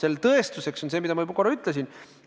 Selle tõestuseks on see, mida ma juba korra ütlesin.